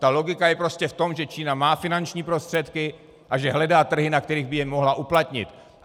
Ta logika je prostě v tom, že Čína má finanční prostředky a že hledá trhy, na kterých by je mohla uplatnit.